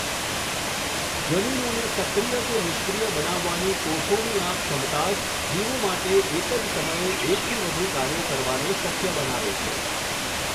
જનીનોને સક્રિય કે નિષ્ક્રિય બનાવવાની કોષોની આ ક્ષમતા જ જીવો માટે એક જ સમયે એકથી વધુ કાર્યો કરવાને શક્ય બનાવે છે.